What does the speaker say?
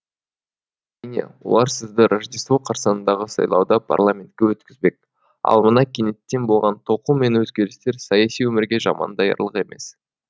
олар сізді рождество қарсаңындағы сайлауда парламентке өткізбек ал мына кенеттен болған толқу мен өзгерістер саяси өмірге жаман даярлық емес